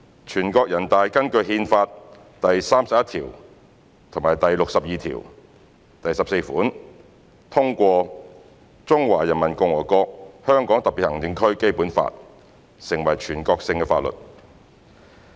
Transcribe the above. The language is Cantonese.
全國人大根據《憲法》第三十一條及第六十二條第十四款通過《中華人民共和國香港特別行政區基本法》成為全國性法律。